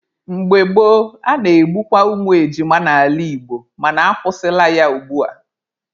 Mgbe gboo, a na-egbukwa ụmụ ejima n'ala Igbo mana akwụsịla ya ugbua.